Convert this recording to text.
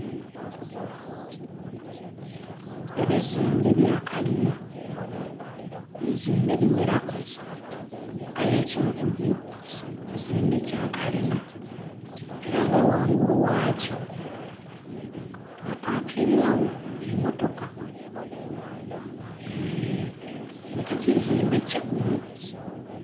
Ebizimbe bya kalina, ebizimbe bigheraku. Aye ekimu ku byo, kizimbe kya kalina era nga ghangulu ghakyo bapakingagho emmotoka. Kiboneka kizimbe kigumu.